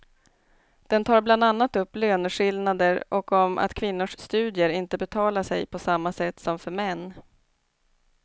Den tar bland annat upp löneskillnader och om att kvinnors studier inte betalar sig på samma sätt som för män.